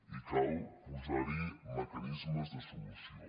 i cal posar·hi meca·nismes de solució